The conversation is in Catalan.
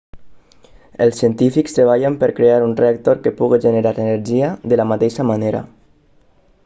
els científics treballen per crear un reactor que pugui generar energia de la mateixa manera